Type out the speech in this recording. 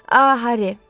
A Harri!